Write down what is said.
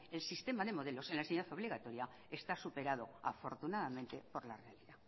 el sistema de modelos en la enseñanza obligatoria está superado afortunadamente por la realidad